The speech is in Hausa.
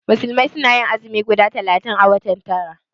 Musulmai suna yin azumi guda talatin a watan tara